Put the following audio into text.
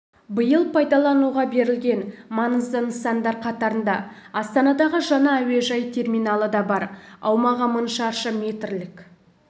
биыл пайдалануға берілген маңызды нысандар қатарында астанадағы жаңа әуежай терминалы да бар аумағы мың шаршы метрлік